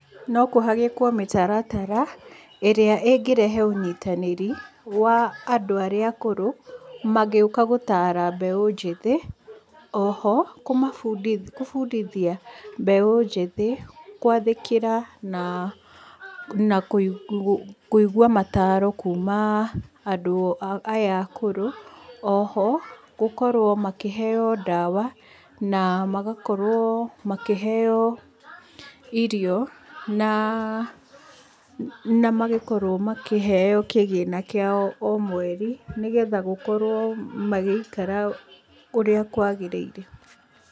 No kũhagĩkwo mĩtaratara ĩrĩa ĩngĩrehe ũnyitanĩri wa andũ arĩa akũrũ mangĩũka gũtaara mbeũ njĩthĩ. Oho kũmabundithia gũbundithia mbeũ njĩthĩ gũathĩkĩra na kũigua mataaro kuma andũ aya akũrũ. Oho gũkorwo makĩheo ndawa na magakorwo makĩheo irio na magĩkorwo makĩheo kĩgĩna kĩao o mweri nĩgetha gũkorwo magĩikara ũrĩa kũagĩrĩire.